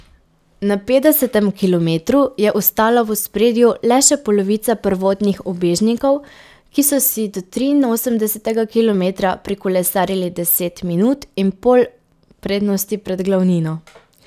Na petdesetem kilometru je ostala v ospredju le še polovica prvotnih ubežnikov, ki so si do triinosemdesetega kilometra prikolesarili deset minut in pol prednosti pred glavnino.